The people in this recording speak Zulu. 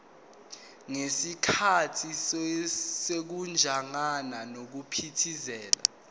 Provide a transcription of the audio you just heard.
ngesikhathi sokujingana nokuphithiza